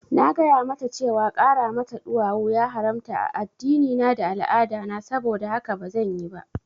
Na gaya mata cewa ƙara mata ɗuwawu ya haramta a addinina da al'adana, saboda haka bazan yi ba